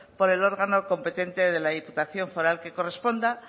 por el órgano competente de la diputación foral que corresponda